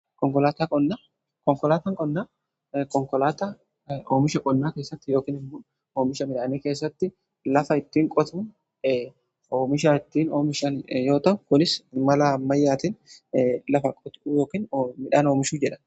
Konkolaatan qonnaa oomisha qonnaa keessatti yookiin immoo oomisha midhaanii keessatti lafa ittiin qotuu oomisha ittiin oomishan yoo ta'u kunis mala ammayyaatiin lafa qotuu yookiin midhaan oomishuu jedhama.